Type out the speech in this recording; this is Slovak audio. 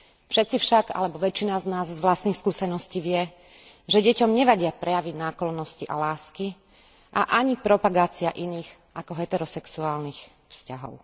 Všetci však alebo väčšina z nás z vlastných skúseností vie, že deťom nevadia prejavy náklonnosti a lásky a ani propagácia iných ako heterosexuálnych vzťahov.